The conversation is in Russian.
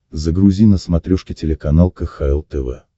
загрузи на смотрешке телеканал кхл тв